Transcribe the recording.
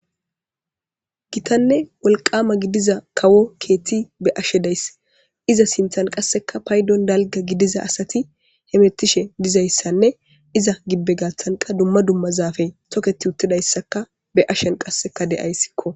Gitanne wolqama gidiza kawo keethti be ashedayss iza sinthan qasseka paydon dalga gidiza asati hemettishe dizayssanne iza gibbe gathanqa dumma dumma zaafe toketi uttidayssaka be ashen qasseka deyayssikko.